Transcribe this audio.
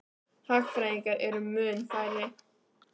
Hagfræðingar eru mun færri.